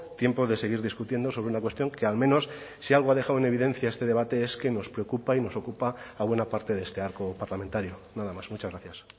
tiempo de seguir discutiendo sobre una cuestión que al menos si algo ha dejado en evidencia este debate es que nos preocupa y nos ocupa a buena parte de este arco parlamentario nada más muchas gracias